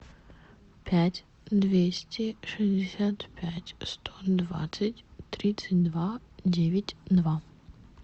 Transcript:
пять двести шестьдесят пять сто двадцать тридцать два девять два